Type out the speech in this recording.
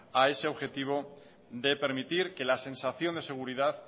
a ese objetivo de permitir que la sensación de seguridad